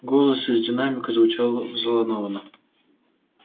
голос из динамика звучал взволнованно